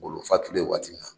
Ngolo fatulen waati min na